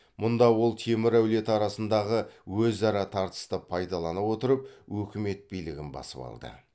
мұнда ол темір әулеті арасындағы өзара тартысты пайдалана отырып өкімет билігін басып алды